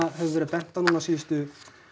hefur verið bent á núna síðustu